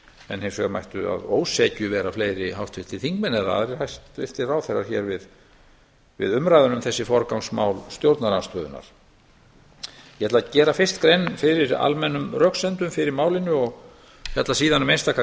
en hins vegar mættu að ósekju vera fleiri háttvirtir þingmenn eða aðrir hæstvirtir ráðherrar hér við umræðuna um þessi forgangsmál stjórnarandstöðunnar ég ætla gera fyrst grein fyrir almennum röksemdum fyrir málinu og fjalla síðan um einstaka